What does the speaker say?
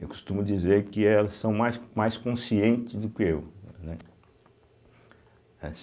Eu costumo dizer que elas são mais mais conscientes do que eu, né? eh